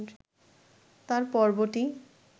তার পর্বটি